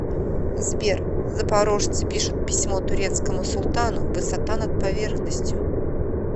сбер запорожцы пишут письмо турецкому султану высота над поверхностью